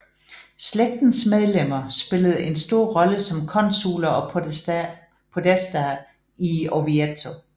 Slægtens medlemmer spillede en stor rolle som konsuler og podestaer i Orvieto